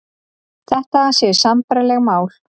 Þetta séu sambærileg mál